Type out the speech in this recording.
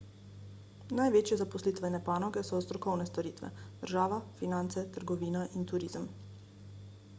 največje zaposlitvene panoge so strokovne storitve država finance trgovina in turizem